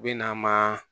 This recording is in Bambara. U bɛ na ma